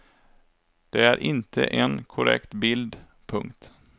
Det är inte en korrekt bild. punkt